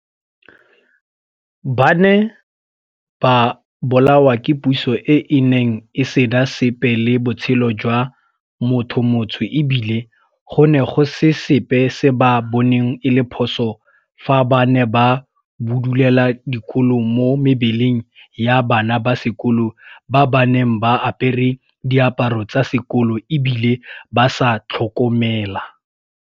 Ba ne ba bolawa ke puso e e neng e sena sepe le botshelo jwa mothomotsho e bile go ne go se sepe se ba boneng e le phoso fa ba ne ba budulela dikolo mo mebeleng ya bana ba sekolo ba ba neng ba apere diaparo tsa sekolo e bile ba sa tlhomela.